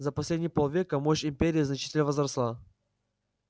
за последние полвека мощь империи значительно возросла